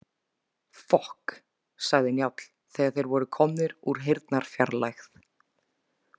Fokk, sagði Njáll þegar þeir voru komnir úr heyrnarfjarlægð.